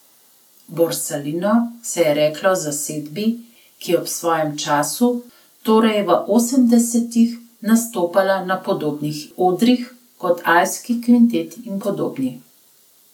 Borsalino se je reklo zasedbi, ki je ob svojem času, torej v osemdesetih, nastopala na podobnih odrih kot Alpski kvintet in podobni.